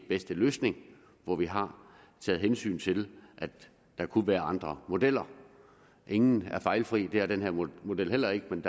bedste løsning og vi har taget hensyn til at der kunne være andre modeller ingen er fejlfri og det er den her model heller ikke men